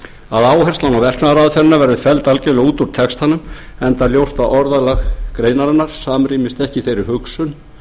áherslan á verknaðaraðferðina verði algjörlega felld út úr textanum enda ljóst að orðalag greinarinnar samrýmist ekki þeirri hugsun